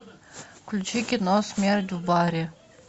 включи кино смерть в баре